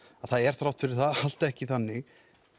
að það er þrátt fyrir það allt ekki þannig